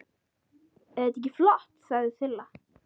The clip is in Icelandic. Eð þetta ekki flott? sagði Silla.